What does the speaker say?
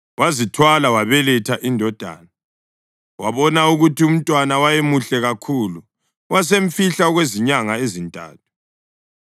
wazithwala wabeletha indodana. Wabona ukuthi umntwana wayemuhle kakhulu, wasemfihla okwezinyanga ezintathu.